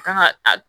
Kan ka a